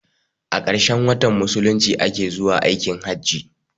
A ƙarshen watan musulunci a ke zuwa aikin hajji.